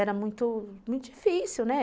Era muito, muito difícil, né?